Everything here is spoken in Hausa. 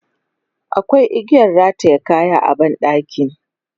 Akwai igiyan rataye kaya a ban ɗaki.